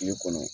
Kile kɔnɔ